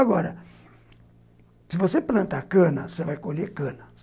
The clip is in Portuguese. Agora, se você planta cana, você vai colher cana.